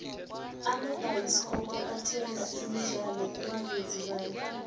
amabhayisikopo athenga imidlalo kubavezi bayo